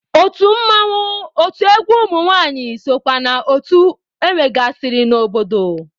Otu mmanwụ, otu egwu ụmụnwaanyị sokwa na otu enwegasịrị n'obodo.